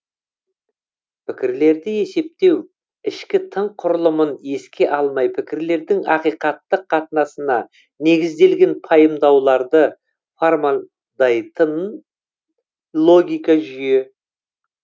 пікірлерді есептеу ішкі тың құрылымын еске алмай пікірлердің ақиқаттық қатынасына негізделген пайымдауларды формандайтын логика жүйе